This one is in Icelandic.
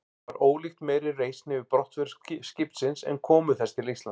Var ólíkt meiri reisn yfir brottför skipsins en komu þess til Íslands.